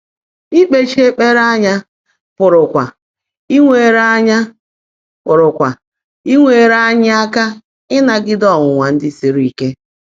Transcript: Íkpèchi ékpèré ányá pụ́rụ́kwá ínwèèré ányá pụ́rụ́kwá ínwèèré ányị́ áká ị́nágídé ọ́nwụ́nwá ndị́ sírí íke.